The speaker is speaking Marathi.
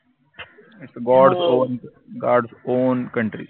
OwnGodsOwnCountry